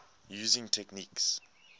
using techniques